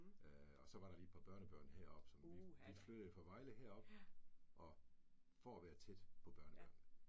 Øh og så var der lige et par børnebørn heroppe, så vi vi flyttede fra Vejle herop og for at være tæt på børnebørnene